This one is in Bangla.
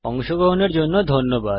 অংশগ্রহনের জন্য ধন্যবাদ